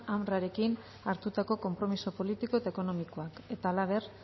unrwarekin hartutako konpromiso politiko eta ekonomikoak eta halaber